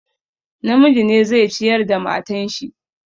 Namiji ne zai ciyar da matan shi.